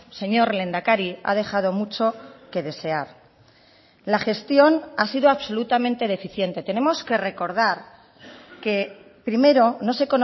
señor lehendakari ha dejado mucho que desear la gestión ha sido absolutamente deficiente tenemos que recordar que primero no se